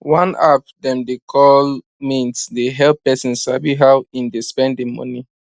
one app dem dey call mint dey help person sabi how him dey spend him money